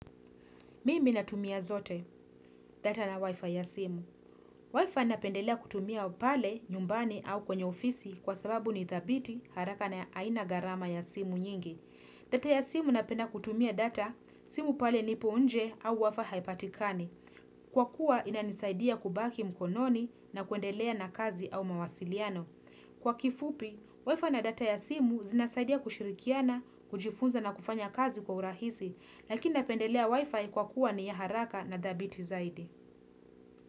Mimi natumia zote, data na wifi ya simu. Wifi napendelea kutumia pale nyumbani au kwenye ofisi kwa sababu nithabiti haraka na aina gharama ya simu nyingi. Data ya simu napenda kutumia data, simu pale nipo nje au wifi haipatikani. Kwa kuwa inanisaidia kubaki mkononi na kuendelea na kazi au mawasiliano. Kwa kifupi, wifi na data ya simu zinasaidia kushirikiana, kujifunza na kufanya kazi kwa urahisi, lakini napendelea wifi kwa kuwa ni ya haraka na thabiti zaidi.